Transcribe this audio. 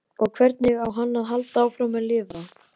Og hvernig á hann að halda áfram að lifa?